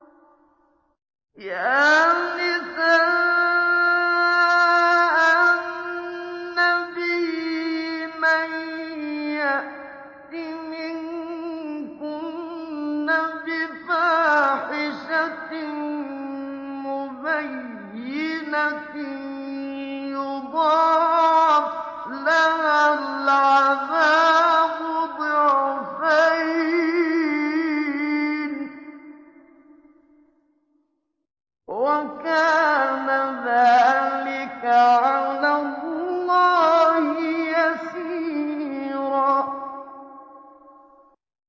يَا نِسَاءَ النَّبِيِّ مَن يَأْتِ مِنكُنَّ بِفَاحِشَةٍ مُّبَيِّنَةٍ يُضَاعَفْ لَهَا الْعَذَابُ ضِعْفَيْنِ ۚ وَكَانَ ذَٰلِكَ عَلَى اللَّهِ يَسِيرًا